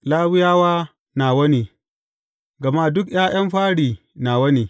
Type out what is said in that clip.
Lawiyawa nawa ne, gama duk ’ya’yan fari nawa ne.